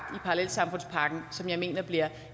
parallelsamfundspakken som jeg mener bliver